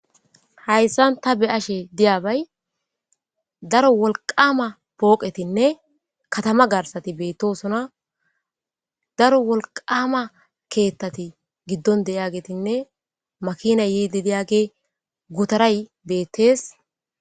Hayssan ta be ashe diyabay daro wolqama pooqetinne katama garsati beettosona daro wolqama keettati giddon deyagetinne makina yiedi diyage gotaray beettees.